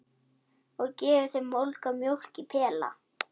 Og gefur þeim volga mjólk í pela!